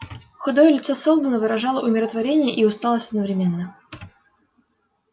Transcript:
худое лицо сэлдона выражало умиротворение и усталость одновременно